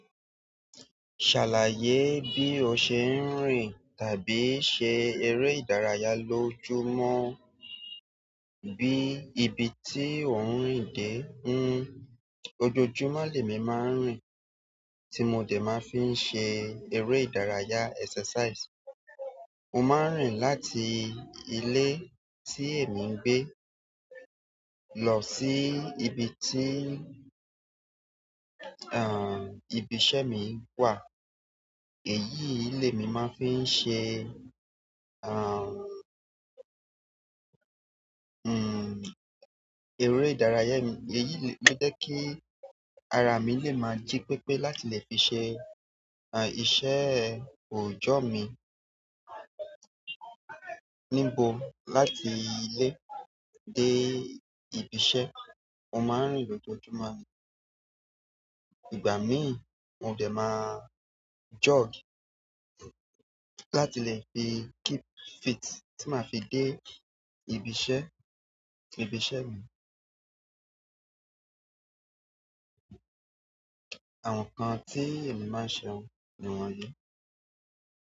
Ṣàlàyé bí o ṣe ń rìn tàbí ṣe eré ìdárayá lójoojúmọ́, bí ibi tí o ń rìn dé. Ojoojúmọ́ ni emi maa n rin ti mo si maa n fi se ere ìdárayá exercise. Mo ma ń rìn láti ilé tí èmi ń gbé lọ sí ibi tí, àh, ibi iṣẹ́ mi wà. Èyí ilé mi ma fi ṣe, àh, hmm, eré ìdárayá mi. Èyí lè jẹ́ kí ara mi lè máa jí pépé láti lè fi ṣe, àh, iṣẹ́ òòjọ́ mi. Níbo láti ilé dé ibi iṣẹ́, mo máa ń rìn lójoojúmọ́. Ìgbà mí, mo dẹ̀ ma jog láti lè fi keep fit tí màá fi dé ibi iṣẹ́, ibi iṣẹ́ mi. Àwọn nǹkan tí èmi máa ń ṣe wọn ni wọ̀nyí.